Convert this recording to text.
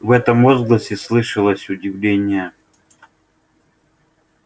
в этом возгласе слышалось удивление